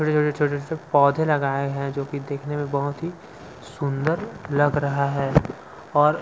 छोटे छोटे से पौधे लगाए हैं जो की देखने में बहुत ही सुंदर लग रहा है और--